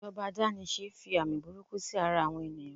ijoba adanise fi omi burúkú sí ara àwọn ènìyàn